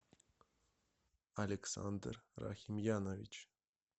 александр рахимьянович